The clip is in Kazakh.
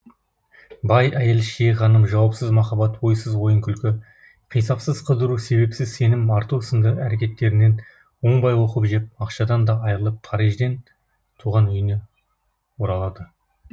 бай әйел шие ханым жауапсыз махаббат ойсыз ойын күлкі қисапсыз қыдыру себепсіз сенім арту сынды әрекеттерінен оңбай опық жеп ақшадан да айырылып парижден туған үйіне оралады